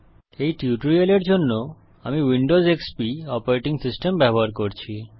এই টিউটোরিয়ালের জন্য আমি উইন্ডোজ এক্সপি অপারেটিং সিস্টেম ব্যবহার করছি